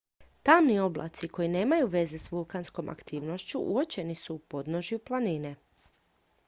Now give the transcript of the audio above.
tamni oblaci koji nemaju veze s vulkanskom aktivnošću uočeni su u podnožju planine